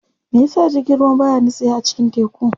Meyasa jirgin ruwa baya nitsewa a cikin teku?